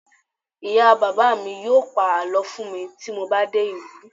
ìyá bàbá mi yíò pa àlọ fún mi ti mo ba dé ìlú